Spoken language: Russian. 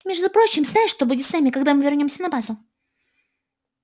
между прочим знаешь что будет с нами когда мы вернёмся на базу